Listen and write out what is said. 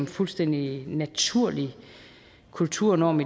fuldstændig naturlig kulturnorm